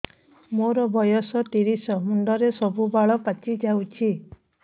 ମୋର ବୟସ ତିରିଶ ମୁଣ୍ଡରେ ସବୁ ବାଳ ପାଚିଯାଇଛି